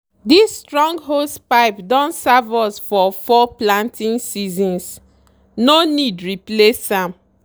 this strong hosepipe don serve us for four planting seasons—no need replace am.